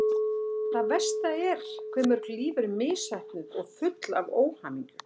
Það versta er hve mörg líf eru misheppnuð og full óhamingju.